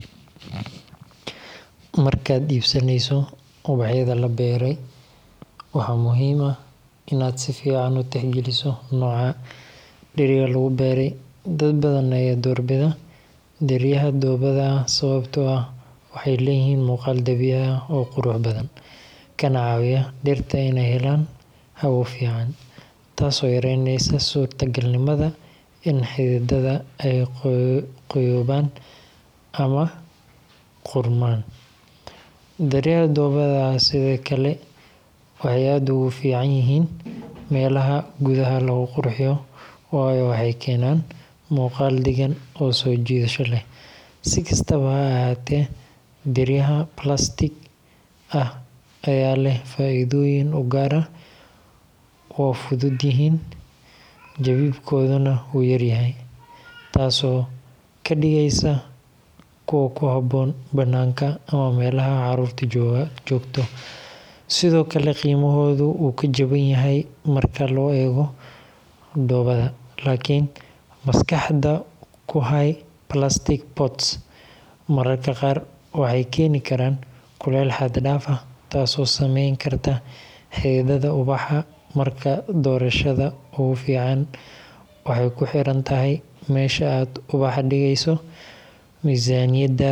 Markaad iibsanayso ubaxyada la beeray, waxaa muhiim ah inaad si fiican u tixgeliso nooca dheriga lagu beeray. Dad badan ayaa doorbida dheryaha dhoobada ah sababtoo ah waxay leeyihiin muuqaal dabiici ah oo qurux badan, kana caawiya dhirta inay helaan hawo fiican, taasoo yareyneysa suurtagalnimada in xididada ay qoyoobaan ama qudhmaan. Dheryaha dhoobada ah sidoo kale waxay aad ugu fiican yihiin meelaha gudaha lagu qurxiyo, waayo waxay keenaan muuqaal deggan oo soo jiidasho leh. Si kastaba ha ahaatee, dheryaha plastic ah ayaa leh faa’iidooyin u gaar ah – waa fudud yihiin, jabidkooduna wuu yaryahay, taasoo ka dhigaysa kuwo ku habboon bannaanka ama meelaha caruurtu joogto. Sidoo kale, qiimahoodu wuu ka jaban yahay marka loo eego dhoobada. Laakiin maskaxda ku hay, plastic pots mararka qaar waxay keeni karaan kuleyl xad dhaaf ah, taasoo saameyn karta xididdada ubaxa. Marka doorashada ugu fiican waxay ku xiran tahay meesha aad ubaxa dhigeyso, miisaaniyaddaada, iyo